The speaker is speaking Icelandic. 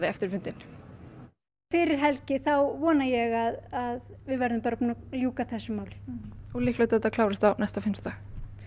eftir fundinn fyrir helgi þá vona ég að við verðum búin að ljúka þessu máli og líklegt að þetta klárist á næsta fimmtudag